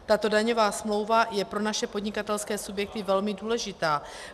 Tato daňová smlouva je pro naše podnikatelské subjekty velmi důležitá.